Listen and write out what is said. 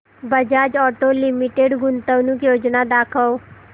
Bajaj auto limited गुंतवणूक योजना दाखव